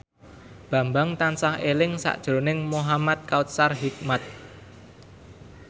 Bambang tansah eling sakjroning Muhamad Kautsar Hikmat